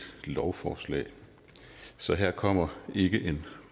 lovforslag så her kommer ikke en